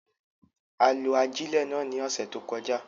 A lo ajilẹ náà ni ọsẹ to kọja